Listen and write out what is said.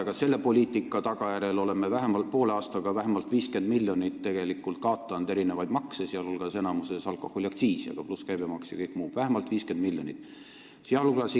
Aga selle poliitika tagajärjel oleme poole aastaga tegelikult vähemalt 50 miljonit makse kaotanud: enamjaolt alkoholiaktsiisi, pluss käibemaks ja kõik muu – vähemalt 50 miljonit!